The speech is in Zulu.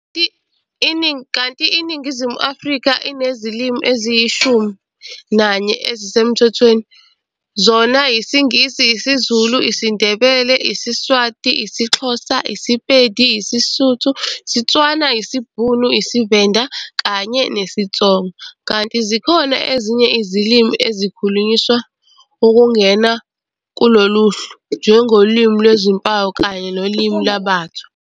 Kanti iNingizimu Afrika inezilimi eziyishumi nanye ezisemthethweni, zona yisiNgisi, isiZulu, isiNdebele, isiSwati, isiXhosa, isiPedi, isiSotho, isiTswana, isiBhunu, isiVenda kanye nesiTsonga, kanti zikhona ezinye izilimi ezikhulunyiswa ukungena kuloluhlu, njengolimi lwezimpawu kanye nolimi lwaBathwa.